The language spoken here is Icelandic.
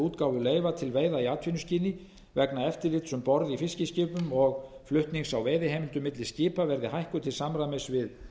útgáfu leyfa til veiða í atvinnuskyni vegna eftirlits um borð í fiskiskipum og flutnings á veiðiheimildum milli skipa verði hækkuð til samræmis við